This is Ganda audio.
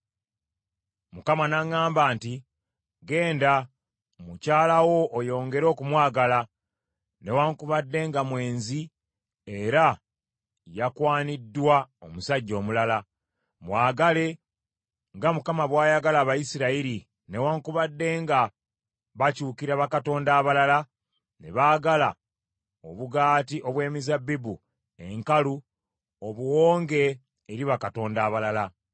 Mukama n’aŋŋamba nti, “Genda, mukyala wo oyongere okumwagala, newaakubadde nga mwenzi era yakwaniddwa omusajja omulala. Mwagale nga Mukama bw’ayagala Abayisirayiri newaakubadde nga bakyukira bakatonda abalala ne baagala obugaati obw’emizabbibu enkalu obuwonge eri bakatonda abalala.”